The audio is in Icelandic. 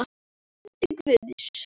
Andi Guðs.